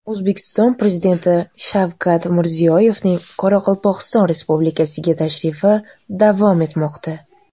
O‘zbekiston Prezidenti Shavkat Mirziyoyevning Qoraqalpog‘iston Respublikasiga tashrifi davom etmoqda.